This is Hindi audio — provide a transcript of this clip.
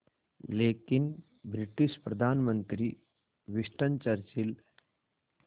लेकिन ब्रिटिश प्रधानमंत्री विंस्टन चर्चिल